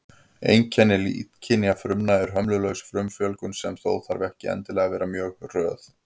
Einkenni illkynja frumna er hömlulaus frumufjölgun, sem þó þarf ekki endilega að vera mjög hröð.